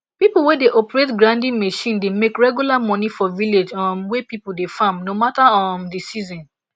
pipo wey dey operate grinding machine dey make regular money for village um wey people dey farm no mata um di season